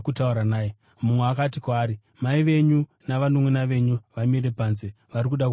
Mumwe akati kwaari, “Mai venyu navanunʼuna venyu vamire panze, vari kuda kutaura nemi.”